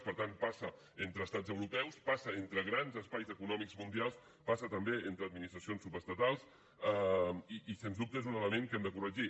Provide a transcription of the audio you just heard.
per tant passa entre estats europeus passa entre grans espais econòmics mundials passa també entre administracions subestatals i sens dubte és un element que hem de corregir